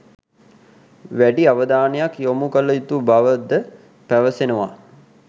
වැඩි අවධානයක් යොමු කළ යුතු බවද පැවසෙනවා.